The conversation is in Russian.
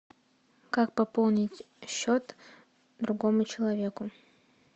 как пополнить счет другому человеку